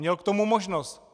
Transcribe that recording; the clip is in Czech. Měl k tomu možnost!